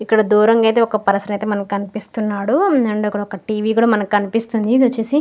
ఇక్కడ దూరం గా అయితే ఒక పర్సన్ అయితే మనకి కనిపిస్తున్నాడు అండ్ ఒక టీవి అయితే మనకి కనిపిస్తుంది ఇది వచ్చేసి--